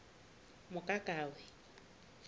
mokakawe